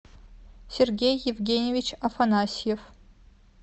сергей евгеньевич афанасьев